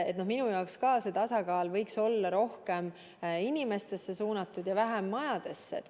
Ka minu jaoks võiks see tasakaal olla rohkem inimeste ja vähem majade poole suunatud.